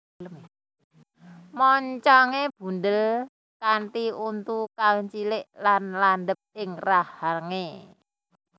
Moncongé bundhel kanthi untu kang cilik lan landhep ing rahangé